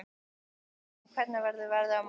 Jötunn, hvernig er veðrið á morgun?